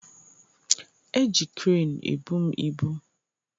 Eji kreenu ebu m ibu